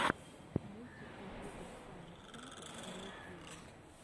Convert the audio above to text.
мультик компьютэр сайнс сентэр на ютьюбе